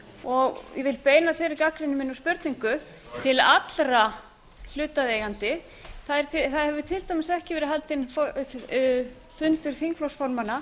og vil beina þeirri gagnrýni minni og spurningu til allra hlutaðeigandi það hefur til dæmis ekki verið haldinn fundur þingflokksformanna